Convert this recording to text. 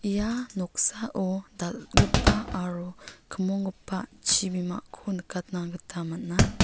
ia noksao dal·gipa aro kimonggipa chibimako nikatna gita man·a.